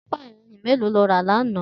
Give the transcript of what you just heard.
Tìpá iyànrín méló ló rà làná?